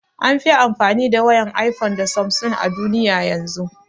An fi amfani da wayan iphone da samsung a duniya yanzun